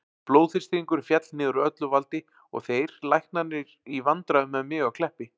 Blóðþrýstingurinn féll niður úr öllu valdi og þeir læknarnir í vandræðum með mig á Kleppi.